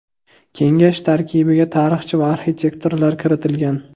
Kengash tarkibiga tarixchi va arxitektorlar kiritilgan.